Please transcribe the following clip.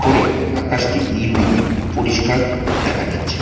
ওপরে আকাশটি নীল রঙের পরিষ্কার দেখা যাচ্ছে।